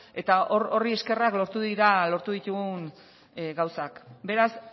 eta horri eskerrak lortu dira lortu ditugun gauzak beraz